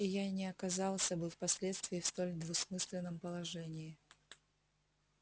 и я не оказался бы впоследствии в столь двусмысленном положении